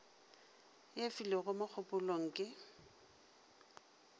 e filego mo kgopelong le